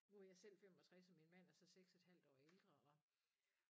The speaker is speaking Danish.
Hvor jeg selv 65 og min mand er så 6 et halvt år ældre og